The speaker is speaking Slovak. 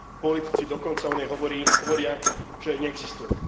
Politici dokonca o nej hovoria, že neexistuje.